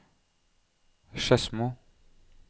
Skedsmo